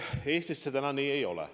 Eestis see täna nii ei ole.